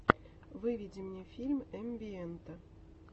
выведи мне фильм эмбиэнта